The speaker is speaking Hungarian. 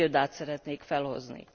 Két példát szeretnék felhozni.